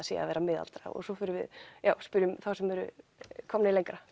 sé að vera miðaldra og svo förum við já spyrjum þá sem eru komnir lengra